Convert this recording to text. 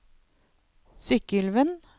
Sykkylven